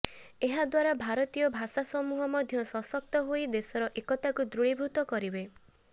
ଏହାଦ୍ୱାରା ଭାରତୀୟ ଭାଷା ସମୂହ ମଧ୍ୟ ସଶକ୍ତ ହୋଇ ଦେଶର ଏକତାକୁ ଦୃଢୀଭୂତ କରିବେ